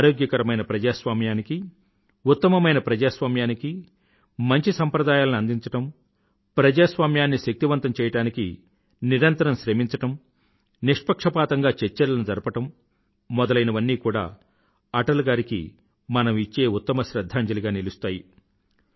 ఆరోగ్యకరమైన ప్రజాస్వామ్యానికీ ఉత్తమమైన ప్రజాస్వామ్యానికీ మంచి సంప్రదాయాలని అందించడం ప్రజాస్వామ్యాన్ని శక్తివంతం చెయ్యడానికి నిరంతరం శ్రమించడం నిష్పక్షపాతంగా చర్చలను జరపడం మొదలైనవన్నీ కూడా అటల్ గారికి మనం ఇచ్చే ఉత్తమ శ్రధ్ధాంజలిగా నిలుస్తాయి